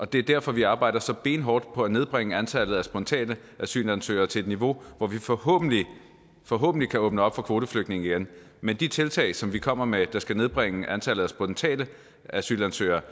det er derfor vi arbejder så benhårdt på at nedbringe antallet af spontane asylansøgere til et niveau hvor vi forhåbentlig forhåbentlig kan åbne op for kvoteflygtninge igen men de tiltag som vi kommer med der skal nedbringe antallet af spontane asylansøgere